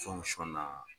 na